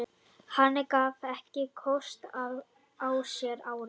Hann gaf ekki kost á sér árið